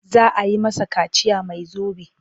Za a yi masa kaciya mai zobe.